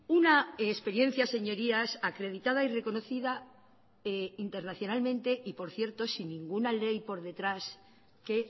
una experiencia señorías acreditada y reconocida internacionalmente y por cierto sin ninguna ley por detrás que